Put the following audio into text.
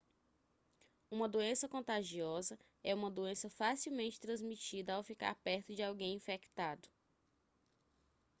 uma doença contagiosa é uma doença facilmente transmitida ao ficar perto de alguém infectado